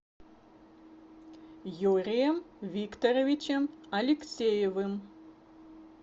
юрием викторовичем алексеевым